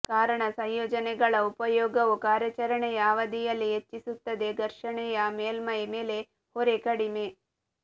ಕಾರಣ ಸಂಯೋಜನೆಗಳ ಉಪಯೋಗವು ಕಾರ್ಯಾಚರಣೆಯ ಅವಧಿಯಲ್ಲಿ ಹೆಚ್ಚಿಸುತ್ತದೆ ಘರ್ಷಣೆಯ ಮೇಲ್ಮೈ ಮೇಲೆ ಹೊರೆ ಕಡಿಮೆ